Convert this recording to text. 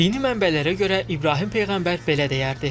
Dini mənbələrə görə İbrahim peyğəmbər belə deyərdi: